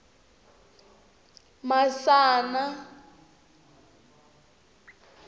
masana